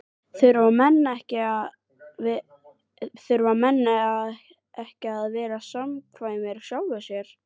Þurfa menn ekki að vera samkvæmir sjálfum sér?